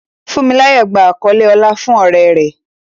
Funmilayo gba àkọlé ọlá fún oore rẹ̀.